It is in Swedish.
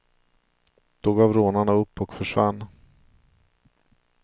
Då gav rånarna upp och försvann.